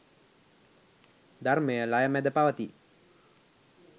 ධර්මය ලය මැද පවතී.